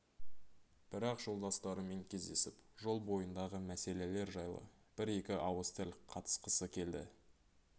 бірақ жолдастарымен кездесіп жол бойындағы мәселелер жайлы бір-екі ауыз тіл қатысқысы келді